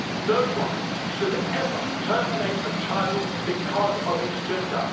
No one should ever terminate a child because of its gender.